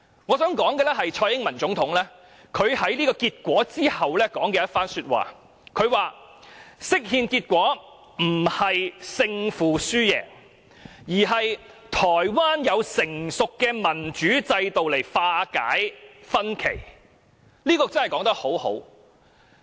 我想說蔡英文總統在結果公布後所說的一番話，她說釋憲結果不是勝負輸贏，而是台灣有成熟的民主機制來化解歧見。